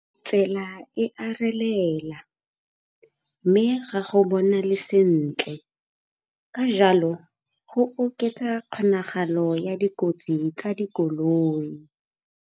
Tsela e a relela mme ga go bonale sentle ka jalo go oketsa kgonagalo ya dikotsi tsa dikoloi.